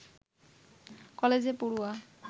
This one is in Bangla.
কলেজে পড়ুয়া